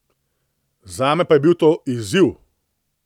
Zame pa je bil to izziv.